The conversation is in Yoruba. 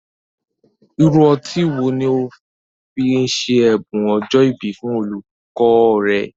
Irú ọtí wo ni ó fi ṣe ẹ̀bùn ọjọ́ ìbí fún olùkọ́ rẹ?